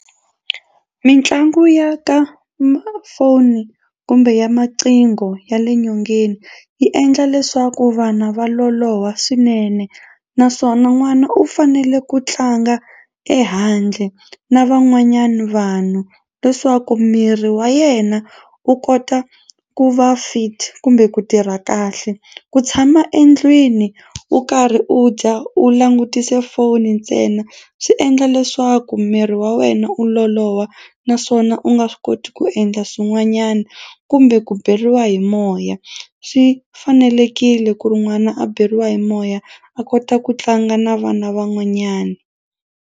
Mitlangu ya ka foni kumbe ya maqhingo ya le nyongeni yi endla leswaku vana va loloha swinene naswona n'wana u fanele ku tlanga ehandle na van'wanyana vanhu leswaku miri wa yena wu kota ku va fit kumbe ku tirha kahle. Ku tshama endlwini u karhi u dya u langutise foni ntsena swi endla leswaku miri wa wena u loloha naswona u nga swi koti ku endla swin'wanyana kumbe ku beriwa hi moya swi fanelekile ku ri n'wana a beriwa hi moya a kota ku tlanga na vana van'wanyana.